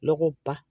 Lɔgɔ ba